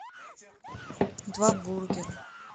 два бургера